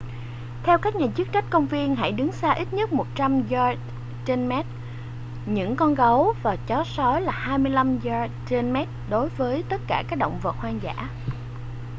theo các nhà chức trách công viên hãy đứng cách xa ít nhất 100 yard/mét những con gấu và chó sói và 25 yard/mét đối với tất cả các động vật hoang dã!